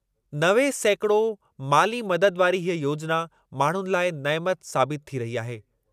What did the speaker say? नवे सैकिड़ो माली मदद वारी हीअ योजिना माण्हुनि लाइ नइमत साबितु थी रही आहे।